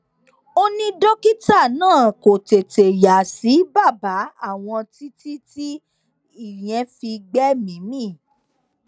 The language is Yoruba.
ó ní dókítà náà kó tètè yà sí bàbá àwọn títí tí ìyẹn fi gbẹmìí mì